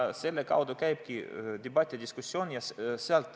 Selle kaudu käibki debatt ja diskussioon.